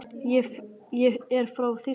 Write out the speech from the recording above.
Ég er frá Þýskalandi.